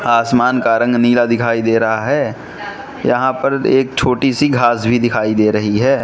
आसमान का रंग नीला दिखाई दे रहा है यहां पर एक छोटी सी घास भी दिखाई दे रही है।